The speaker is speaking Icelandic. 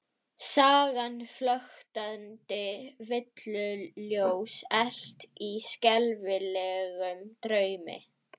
Sagan flöktandi villuljós elt í skelfilegum draumi?